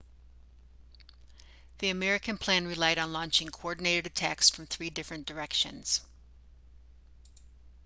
the american plan relied on launching coordinated attacks from three different directions